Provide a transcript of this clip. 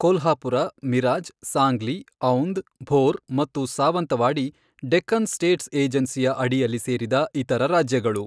ಕೊಲ್ಹಾಪುರ, ಮಿರಾಜ್, ಸಾಂಗ್ಲಿ, ಔಂದ್, ಭೋರ್ ಮತ್ತು ಸಾವಂತವಾಡಿ ಡೆಕ್ಕನ್ ಸ್ಟೇಟ್ಸ್ ಏಜೆನ್ಸಿಯ ಅಡಿಯಲ್ಲಿ ಸೇರಿದ ಇತರ ರಾಜ್ಯಗಳು.